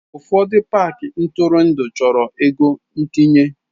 Ụfọdụ paaki ntụrụndụ chọrọ ego ntinye.